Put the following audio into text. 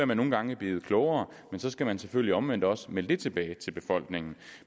man nogle gange er blevet klogere men så skal man selvfølgelig omvendt også melde det tilbage til befolkningen